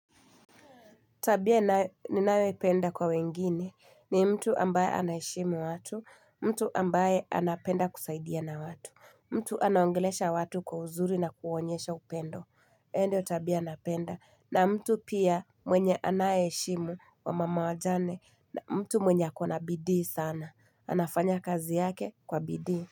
Tabia ninaye ninayoipenda kwa wengine ni mtu ambaye anayeheshimu watu, mtu ambaye anapenda kusaidia na watu, mtu anaongelesha watu kwa uzuri na kuonyesha upendo, endio tabia anapenda na mtu pia mwenye anayeheshimu wa mama wajane na mtu mwenye akona bidii sana, anafanya kazi yake kwa bidii.